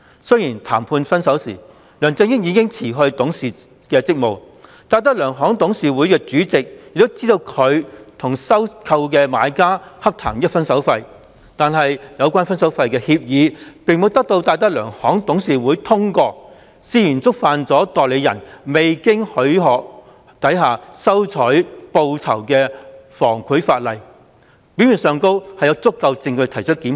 雖然談判"分手"時，梁振英已辭去董事職務，而戴德梁行的董事會主席也知道他與收購的買家洽談"分手費"，但有關的"分手費"協議並沒有得到戴德梁行的董事會通過，涉嫌觸犯代理人未經許可下收取報酬的防賄法例，表面上有足夠證據提出檢控。